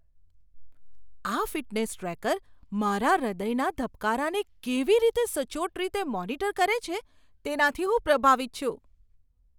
આ fitness tracker મારા હૃદયના ધબકારાને કેવી રીતે સચોટ રીતે મોનિટર કરે છે તેનાથી હું પ્રભાવિત છું.